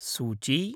सूची